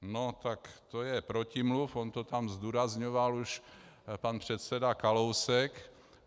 No tak to je protimluv, on to tam zdůrazňoval už pan předseda Kalousek.